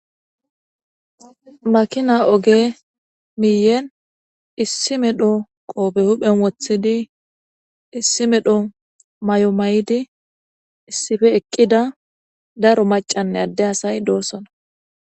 makina oge miiyen issi medho qoobe huphen wothidi issi medho mayo mayidi issife eqqida daro macanne adde asay doossona.